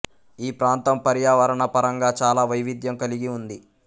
ఈ ప్రాంతం పర్యావరణ పరంగా చాలా వైవిధ్యం కలిగి ఉంది